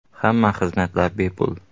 Hamma xizmatlar bepul.